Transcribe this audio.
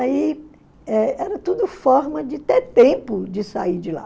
Aí eh era tudo forma de ter tempo de sair de lá.